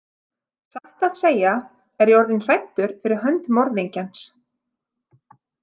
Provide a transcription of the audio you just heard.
Satt að segja er ég orðinn hræddur fyrir hönd morðingjans.